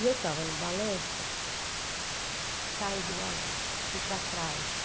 E eu estava no balanço, caí do balanço, fui para trás.